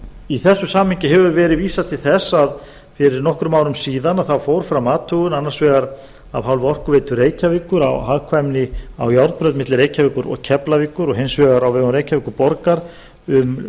í þessu samhengi hefur verið vísað til þess að fyrir nokkrum árum síðan fór fram athugun annars vegar af hálfu orkuveitu reykjavíkur á hagkvæmni á járnbraut milli reykjavíkur og keflavíkur og hins vegar á vegum reykjavíkurborgar um